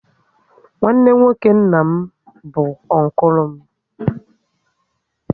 Nwanne nwoke nna m bụ unkulu m